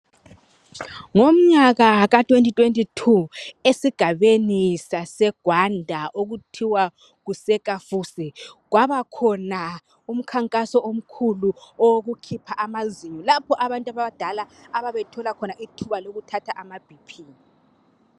Ngomnyaka ka2022 esigabeni saseGwanda okuthiwa kuseKafusi kwabakhona umkhankaso omkhulu wokukhipha amazinyo lapho abantu abadala ababethola khona ithuba lokuthatha amaBP.